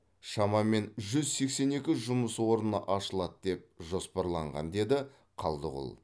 шамамен жүз сексен екі жұмыс орны ашылады деп жоспарланған деді қалдығұл